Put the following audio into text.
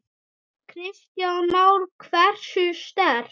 Kristján Már: Hversu sterkt?